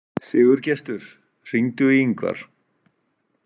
Sigurgestur, hringdu í Yngvar.